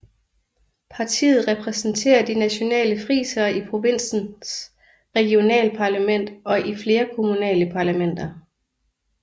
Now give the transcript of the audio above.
Partiet repræsenterer de nationale frisere i provinsens regionalparlament og i flere kommunale parlamenter